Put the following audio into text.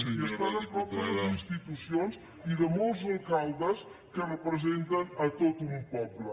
i estant a prop de les institucions i de molts alcaldes que representen a tot un poble